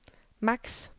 maks